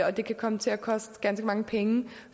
og det kan komme til at koste ganske mange penge